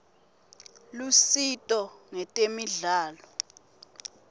lusito ngetemidlalo